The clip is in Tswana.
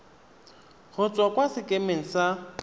go tswa kwa sekemeng sa